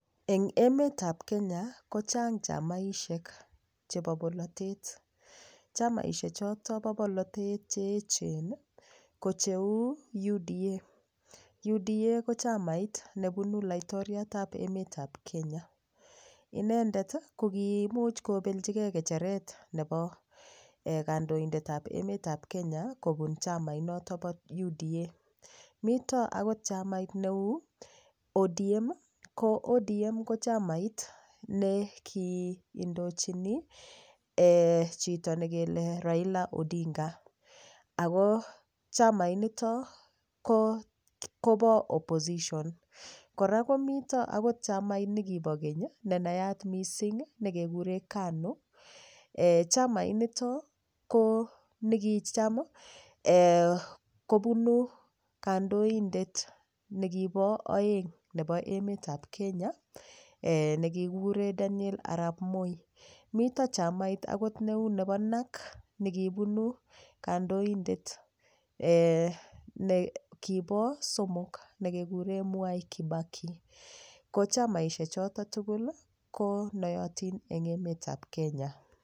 Eng emet ap Kenya ko chang' chamaishek chepo polotet chamaishek choto po polotet cheechen ko cheu UDA, UDA ko chamait nepunu laitoriat ap emet ap Kenya inendet ko koimuch kopelchikee ng'echeret nepo kandoindet ap emet ap Kenya kopun chamait noto po uda mito akot chamait neu odm ko odm ko chamait neki indochini chito nekele raila odinga ako chamait nito kopo opposition kora komito akot chamait nikipo keny ne nayaat mising nekekure kanu chamait nito ko nikicham kopunu kandoindet nekipo oeng nepo emet ap Kenya nekikikure Daniel Arap Moi mito chamait akot neu nepo nack nekipunu kandoindet nekipo somok nekekuren mwai kibaki ko chamaishek choto tukul ko noyotin eng emet ap Kenya